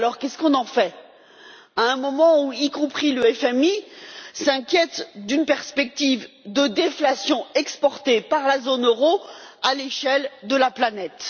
Alors qu'est ce qu'on en fait, à un moment où y compris le FMI s'inquiète d'une perspective de déflation exportée par la zone euro à l'échelle de la planète?